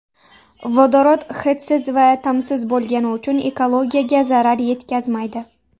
Vodorod hidsiz va ta’msiz bo‘lgani uchun ekologiyaga zarar yetkazmaydi.